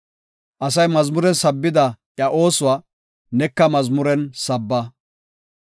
Asay mazmuren sabbida iya oosuwa, neka mazmuren sabba.